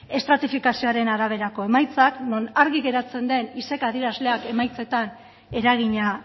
estratifikazioaren araberako emaitza non argi geratzen den adierazleak emaitzetan eragina